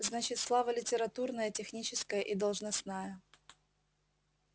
значит слава литературная техническая и должностная